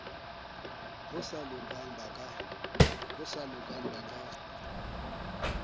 bo sa lokang ba ba